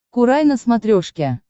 курай на смотрешке